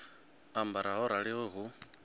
ambara ho raliho ri hu